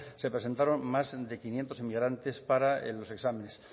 se presentaron más de quinientos inmigrantes para los exámenes